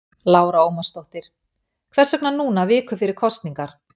Lára Ómarsdóttir: Hvers vegna núna viku fyrir kosningar?